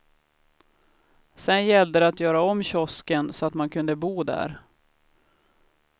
Sedan gällde det att göra om kiosken så att man kunde bo där.